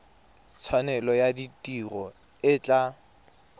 tshwanelo ya tiro e tla